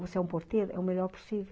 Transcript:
Se você é um porteiro, é o melhor possível.